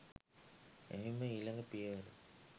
එහිම ඊළඟ පියවර